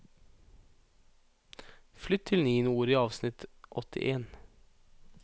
Flytt til niende ord i avsnitt åttien